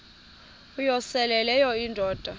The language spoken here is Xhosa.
uyosele leyo indoda